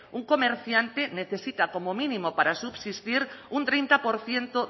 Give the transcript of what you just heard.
un comerciante necesita como mínimo para subsistir un treinta por ciento